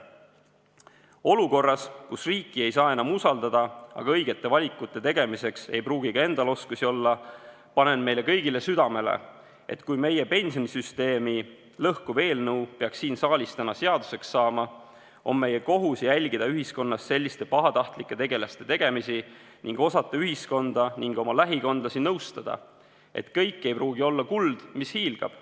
Olukorras, kus riiki ei saa enam usaldada, aga õigete valikute tegemiseks ei pruugi ka endal oskusi olla, panen meile kõigile südamele, et kui meie pensionisüsteemi lõhkuv eelnõu peaks siin saalis täna seaduseks saama, on meie kohus jälgida ühiskonnas selliste pahatahtlike tegelaste tegemisi ning osata ühiskonda ning oma lähikondlasi nõustada, et kõik ei pruugi olla kuld, mis hiilgab.